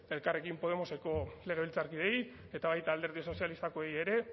elkarrekin podemoseko legebiltzarkideei eta baita alderdi sozialistakoei ere